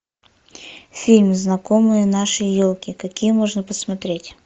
фильм знакомые нашей елки какие можно посмотреть